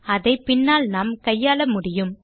அதை பின்னால் நாம் கையாள முடியும்